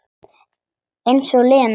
Eins og Lena!